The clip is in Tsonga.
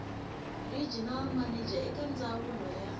regional manager eka ndzawulo ya